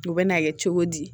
U bɛ n'a kɛ cogo di